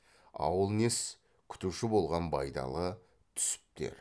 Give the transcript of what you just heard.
ауыл несі күтуші болған байдалы түсіптер